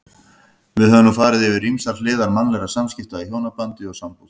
Við höfum nú farið yfir ýmsar hliðar mannlegra samskipta í hjónabandi og sambúð.